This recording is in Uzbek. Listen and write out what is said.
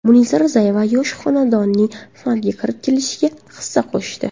Munisa Rizayeva yosh xonandaning san’atga kirib kelishiga hissa qo‘shdi.